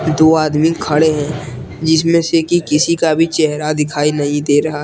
दो आदमी खड़े हैं जिसमें से की किसी का भी चेहरा दिखाई नही दे रहा है।